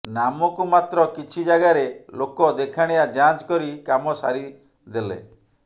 ନାମକୁ ମାତ୍ର କିଛି ଯାଗାରେ ଲୋକ ଦେଖାଣିଆ ଯାଞ୍ଚ କରି କାମ ସାରିଦେଲେ